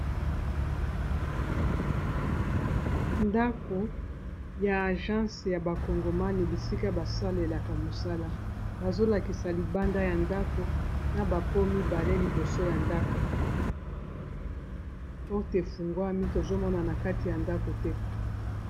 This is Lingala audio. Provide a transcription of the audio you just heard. Ndako ya agence ya ba kongomane bisika basalelaka mosala bazolakisa libanda ya ndako na bapomibale liboso ya ndako porte fungwami tozomona na kati ya ndako te